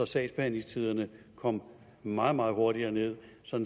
sagsbehandlingstiderne kom meget meget hurtigere ned så